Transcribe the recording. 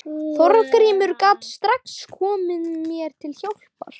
Þorgrímur gat strax komið mér til hjálpar.